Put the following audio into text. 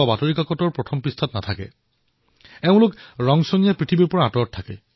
নিজৰ পৰিশ্ৰমৰ দ্বাৰা সিঞ্চন আৰু পানীৰ সমস্যা তেওঁ সদায়ৰ বাবে নোহোৱা কৰি দিছে